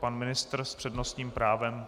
Pan ministr s přednostním právem.